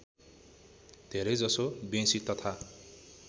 धेरैजसो बेँसी तथा